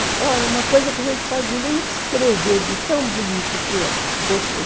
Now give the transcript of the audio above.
É uma coisa que a gente não pode nem descrever de tão bonito que é. Gostoso.